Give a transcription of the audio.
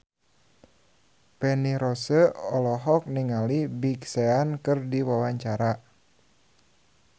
Feni Rose olohok ningali Big Sean keur diwawancara